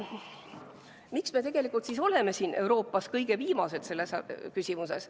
Miks me tegelikult oleme Euroopas kõige viimased selles küsimuses?